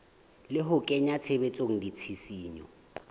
le ho kenya tshebetsong ditshisinyo